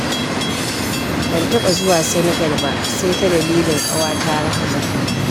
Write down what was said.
Ban taɓa zuwa Senegal ba sai ta dalilin ƙawata Rahmatu